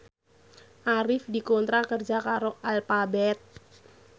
Arif dikontrak kerja karo Alphabet